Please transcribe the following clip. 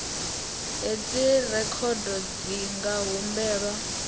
hedzi rekhodo dzi nga humbelwa